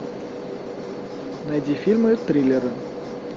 найди фильмы триллеры